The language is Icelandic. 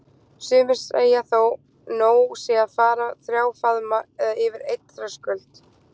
Sumir segja þó nóg sé að fara þrjá faðma eða yfir einn þröskuld.